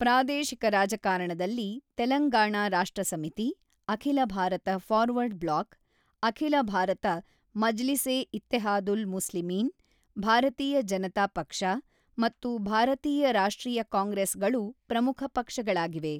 ಪ್ರಾದೇಶಿಕ ರಾಜಕಾರಣದಲ್ಲಿ Telangana Rashtra Samiti, Akhila Bharata forward bloc, Akhila Bharata Majlis e Ittehadul Muslimeen, Bharatiya Janata Paksha ಮತ್ತು ಭಾರತೀಯ ರಾಷ್ಟ್ರೀಯ ಕಾಂಗ್ರೆಸ್ ಗಳು ಪ್ರಮುಖ ಪಕ್ಷಗಳಾಗಿವೆ.